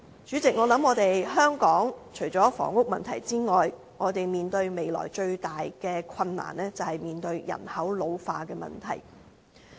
主席，香港除了房屋問題之外，我們未來面對的最大困難，便是人口老化的問題。